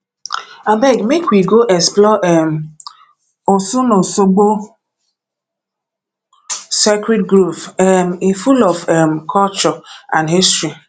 abeg make we go explore um osunosogbo sacred grove um e full of um culture and history